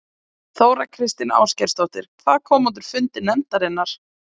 Þóra Kristín Ásgeirsdóttir: Hvað kom út úr fundi nefndarinnar?